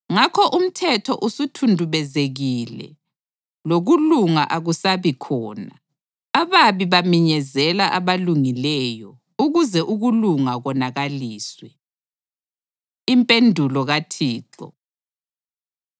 Ngakho umthetho usuthundubezekile, lokulunga akusabi khona. Ababi baminyezela abalungileyo ukuze ukulunga konakaliswe. Impendulo KaThixo